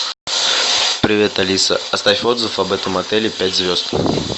привет алиса оставь отзыв об этом отеле пять звезд